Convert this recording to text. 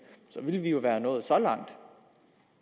ville vi jo være nået så langt